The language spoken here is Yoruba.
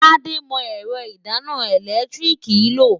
Tádé mọ ẹ̀rọ ìdáná ẹ̀lẹ́tíríìkì lò.